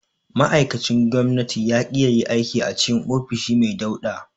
Ma'aikacin gwamnatin ya ƙi yayi aiki a cikin ofishi mai dauɗa.